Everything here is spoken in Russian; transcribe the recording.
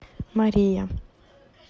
мария